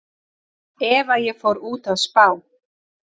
Ef að ég fór út að spá